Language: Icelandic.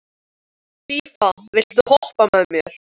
Fía, viltu hoppa með mér?